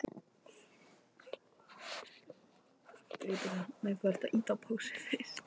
Ósjálfrátt hætti ég að hlusta.